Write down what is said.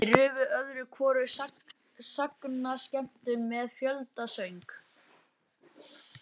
Þeir rufu öðru hvoru sagnaskemmtun með fjöldasöng.